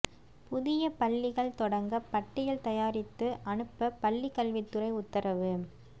புதிய பள்ளிகள் தொடங்க பட்டியல் தயாரித்து அனுப்ப பள்ளிக் கல்வித்துறை உத்தரவு